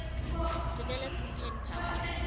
develop pen pal